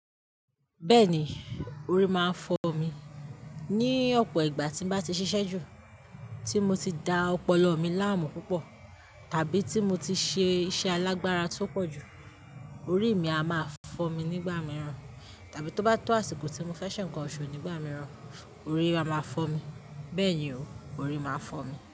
Bẹ́ẹ̀ni, orí máa ń fọ́ mi. Ni ọ̀pọ̀ ìgbà tí mo bá ti ṣiṣẹ́ jù, tí mo ti da ọpọlọ mi láàmú púpọ̀, tàbí tí mo ti ṣe iṣẹ́ alágbára tó pọ̀ jù, orí mi a máa fọ́ mi nígbà mìíràn. Tàbí tó bá tó àsìkò tí mo fẹ́ se ǹkan òṣù nígbà mìíràn, orí a máa fọ́ mi. Bẹ́ẹ̀ni o, orí máa ń fọ́ mi.